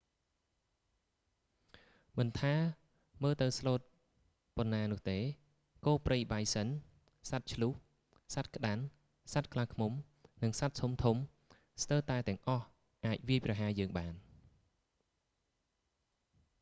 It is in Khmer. មិនថា មើលទៅស្លូតប៉ុណ្ណានោះទេ គោព្រៃបៃសិន bison សត្វឈ្លូស elk សត្វក្តាន់ moose សត្វខ្លាឃ្ញុំ និងសត្វធំ ៗ ស្ទើរតែទាំងអស់អាចវាយប្រហារយើងបាន